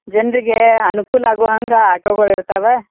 ಜನರಿಗೆ ಅನುಕೂಲ ವಾಗುವಂತೆ ಆಟೋ ಗಳು ಇರ್ತಾವೆ.